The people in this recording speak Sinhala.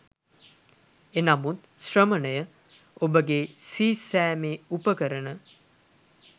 එනමුත් ශ්‍රමණය, ඔබගේ සීසෑමේ උපකරණ